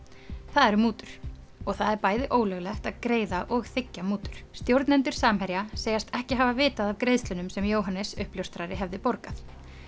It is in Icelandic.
það eru mútur og það er bæði ólöglegt að greiða og þiggja mútur stjórnendur Samherja segjast ekki hafa vitað af greiðslunum sem Jóhannes uppljóstrari hefði borgað